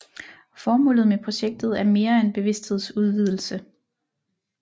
Formålet med projektet er mere end bevidsthedsudvidelse